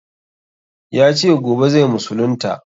Ya ce gobe zai musulunta.